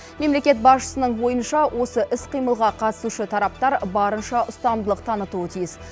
мемлекет басшысының ойынша осы іс қимылға қатысушы тараптар барынша ұстамдылық танытуы тиіс